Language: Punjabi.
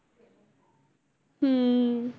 ਹਮ